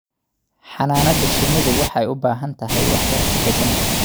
Xannaanada shinnidu waxay u baahan tahay waxbarasho deegaan.